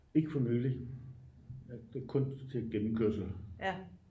ikke for nylig kun til gennemkørsel